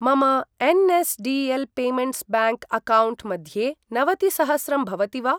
मम NSDL payments bank account मध्ये नवतिसहस्रं भवति वा?